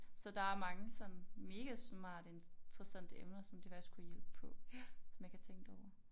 Så der er mange sådan megasmarte interessante emner som det faktisk kunne hjælpe på som jeg ikke har tænkt over